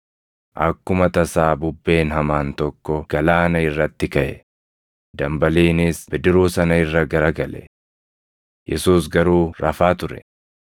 Akkuma tasaa bubbeen hamaan tokko galaana irratti kaʼe; dambaliinis bidiruu sana irra gara gale. Yesuus garuu rafaa ture.